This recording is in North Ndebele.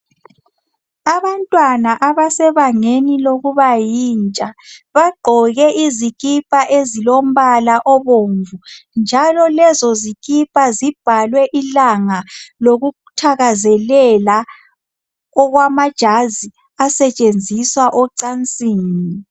Abantwana abasebangeni lokuba yintsha. Bagqoke izikipa ezilombala obomvu. Njalo lezozikipa zibhalwe ilanga, lokuthakazelela, okwamajazi, asetshenziswa ocansini.